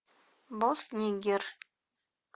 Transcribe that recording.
босс нигер